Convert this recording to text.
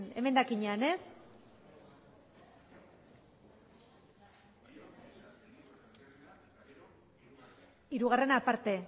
emendakinak ez hirugarrena aparte